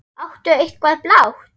Áttu eitthvað blátt?